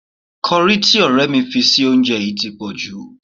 Kọrí tí ọ̀rẹ́ mi fi sí oúnjẹ yìí ti pọ̀jù